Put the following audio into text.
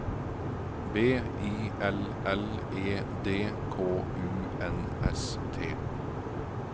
B I L L E D K U N S T